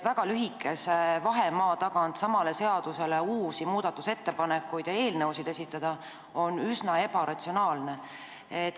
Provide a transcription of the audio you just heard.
Väga lühikese aja tagant sama seaduse kohta uusi muudatusettepanekuid ja uusi eelnõusid esitada on üsna ebaratsionaalne.